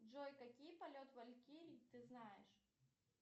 джой какие полет валькирии ты знаешь